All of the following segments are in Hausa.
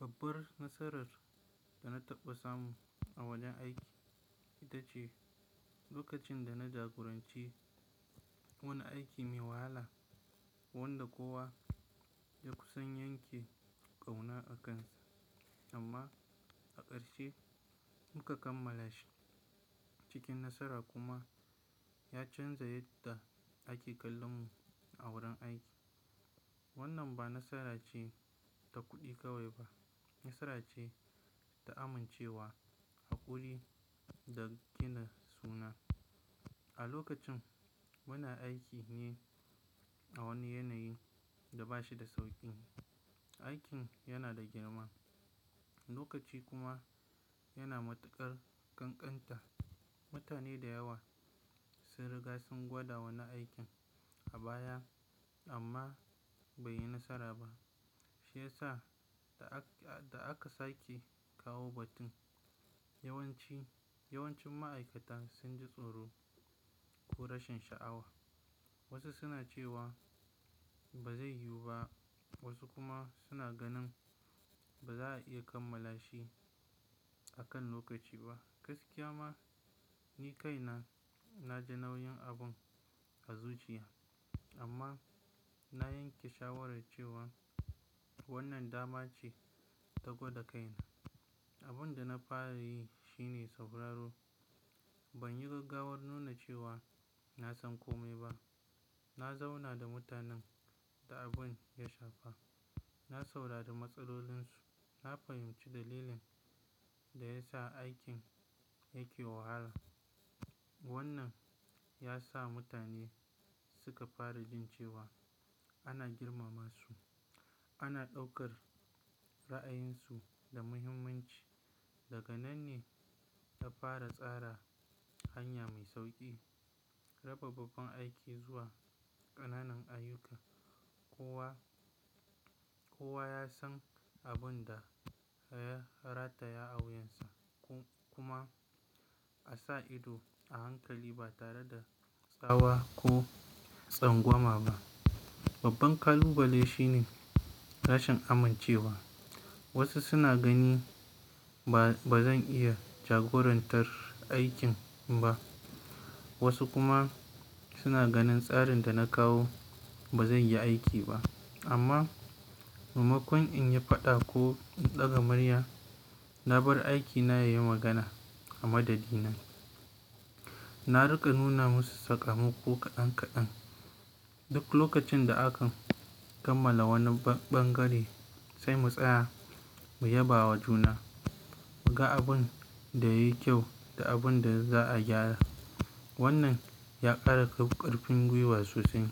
Babbar nasarar da na taɓa samu a wajen aiki ita ce lokacin da na jagoranci wani aiki mai wahala wanda kowa ya kusan yanke ƙauna akansa amma a ƙarshe muka kammala shi. Cikin nasara kuma ya canza yadda ake kallon mu a wurin aiki. Wannan ba nasara ce ta kuɗi kawai ba, nasara ce ta amincewa, haƙuri da gina suna. A lokacin muna aiki ne a wani yanayi da ba shi da sauƙi. Aikin yana da girma, lokaci kuma yana matuƙar ƙanƙanta. Mutane da yawa sun riga sun gwada wannan aikin a baya amma bai yi nasara ba. Shi ya sa da aka, da aka sake kawo batun yawanci, yawancin ma'aikata sun ji tsoro ko rashin sha'awa. Wasu suna cewa ba zai yiwu ba, wasu kuma suna ganin ba za a iya kammala shi akan lokaci ba. Gaskiya ma, ni kaina na ji nauyin abun a zuciya amma na yanke shawarar cewa wannan dama ce ta gwada kaina. Abin da na fara yi shine sauraro. Ban yi gaggawar nuna cewa na san kome ba. Na zauna da mutanen da abin ya shafa, na saurari matsalolinsu, na fahimci dalilin da ya sa aikin yake wahala. Wannan ya sa mutane suka fara jin cewa ana girmama su, ana ɗaukar ra'ayinsu da muhimmanci. Daga nan ne ta fara tsara hanya mai sauƙi, raba babban aiki zuwa ƙananan ayyuka. Kowa, kowa ya san abun da ya rataya a wuyansa kuma a sa ido a hankali ba tare da tsawa ko tsangwama ba. Babban ƙalubale shine rashin amincewa. Wasu suna gani ba, ba zan iya jagorantar aikin ba, wasu kuma suna ganin tsarin da na kawo ba zai yi aiki ba. Amma maimakon in yi faɗa ko in ɗaga murya, na bar aikina ya yi magana a madadin na. Na riƙa nuna musu sakamako kaɗan kaɗan. Duk lokacin da aka kammala wani ɓangare, sai mu tsaya mu yabawa juna, mu ga abin da yayi kyau da abun da za'a gyara. Wannan ya ƙara ƙarfin gwiwa sosai.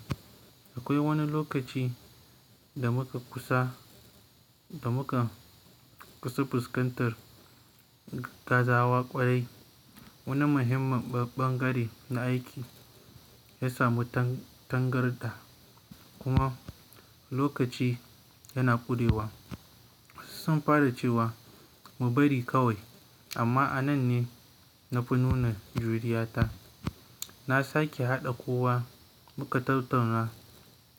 Akwai wani lokaci da muka kusa, da muka kusa fuskantar gazawa ƙwarai. Wani muhimman ɓangare na aiki ya samu tangarɗa kuma lokaci yana ƙurewa. Wasu sun fara cewa mu bari kawai amma a nan ne na fi nuna juriya ta. Na sake haɗa kowa muka tattauna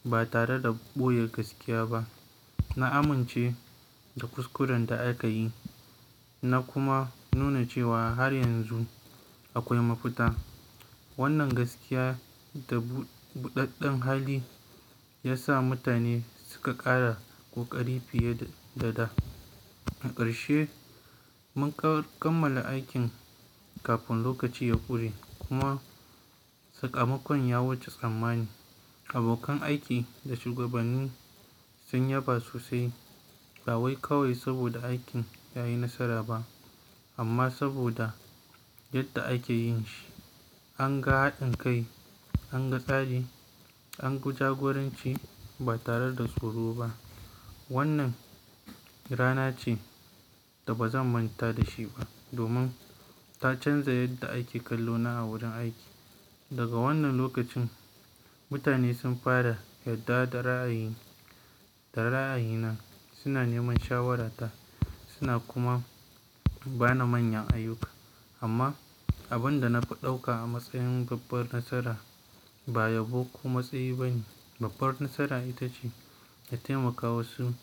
ba tare da ɓoye gaskiya ba. Na amince da kuskuren da aka yi na kuma nuna cewa har yanzu akwai mafita. Wannan gaskiya da buɗaɗɗen hali ya sa mutane suka ƙara ƙoƙari fiye da da. A ƙarshe mun kammala aikin kafin lokaci ya ƙure kuma sakamakon ya wuce tsammani. Abokan aiki da shugabanni sun yaba sosai ba kawai saboda aikin ya yi nasara ba amma saboda yadda ake yin shi. An ga haɗin kai, an ga tsari, an guji jagoranci ba tare da tsoro ba. Wannan rana ce da ba zan manta da shi ba domin ta canza yadda ake kallo na a wurin aiki. Daga wannan lokacin mutane sun fara yarda da ra'ayi, da ra'ayi na, suna neman shawarata suna kuma ba ni manyan ayyuka. Amma abin da na fi ɗauka a matsayin babbar nasara ba yabo ko matsayi bane. Babbar nasara ita ce na taimaka wasu sai.